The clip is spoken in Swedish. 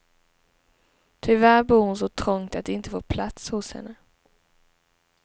Tyvärr bor hon så trångt att de inte får plats hos henne.